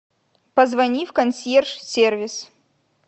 позвони в консьерж сервис